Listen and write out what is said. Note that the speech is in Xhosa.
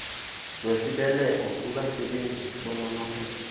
wesibeleko kubasebenzi bononophelo